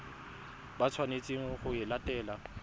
ba tshwanetseng go e latela